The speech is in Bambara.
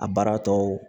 A baara tɔw